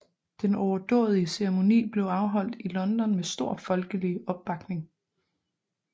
Den overdådige ceremoni blev afholdt i London med stor folkelig opbakning